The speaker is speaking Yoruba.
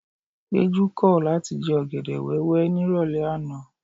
Péjú kọ̀ láti jẹ ọ̀gẹ̀dẹ̀ wẹ́wẹ́ nírọ̀lẹ́ àná.